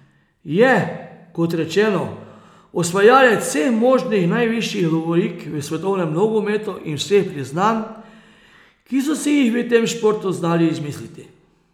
Je, kot rečeno, osvajalec vseh možnih najvišjih lovorik v svetovnem nogometu in vseh priznanj, ki so si jih v tem športu znali izmisliti.